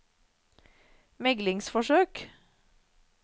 meglingsforsøk